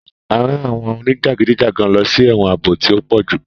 A rán àwọn onijagidijagan lọsí ẹwọn ààbò tí o pojú